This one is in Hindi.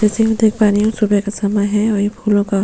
जैसा हम देख पा रहे है ये सुबह का समय है और ये फूलो का --